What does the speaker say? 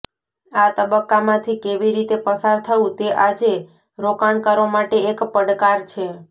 આ તબક્કામાંથી કેવી રીતે પસાર થવું તે આજે રોકાણકારો માટે એક પડકાર છે